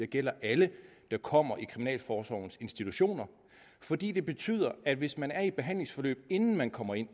gælder alle der kommer i kriminalforsorgens institutioner fordi det betyder at hvis man er i et behandlingsforløb inden man kommer ind